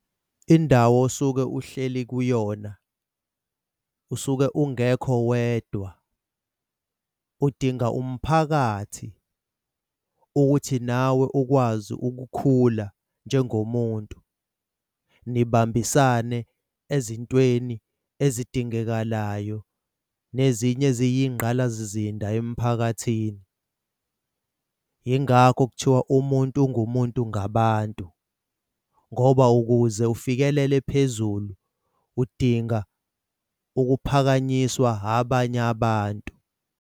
Indawo osuke uhleli kuyona usuke ungekho wedwa, udinga umphakathi ukuthi nawe ukwazi ukukhula njengomuntu nibambisane ezintweni ezidingekalayo nezinye iziyisingqalasizinda emphakathini. Yingakho kuthiwa umuntu ungumuntu ngabantu ngoba ukuze ufikelele phezulu udinga ukuphakanyiswa abanye abantu.